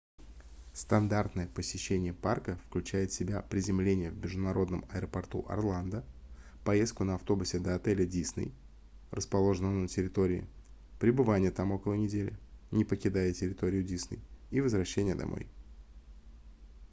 стандартное посещение парка включает в себя приземление в международном аэропорту орландо поездку на автобусе до отеля disney расположенного на территории пребывание там около недели не покидая территорию disney и возвращение домой